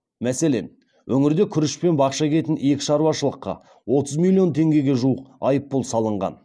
мәселен өңірде күріш пен бақша егетін екі шаруашылыққа отыз миллион теңгеге жуық айыппұл салынған